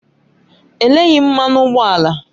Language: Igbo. E leghị m mmanụ ụgbọ ala